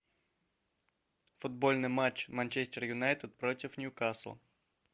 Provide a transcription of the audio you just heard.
футбольный матч манчестер юнайтед против ньюкасл